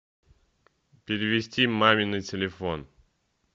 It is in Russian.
перевести маме на телефон